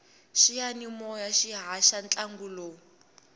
xiyanimoya xi haxa ntlangu lowu